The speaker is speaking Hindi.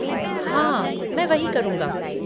हाँ, मैं वही करूँगा।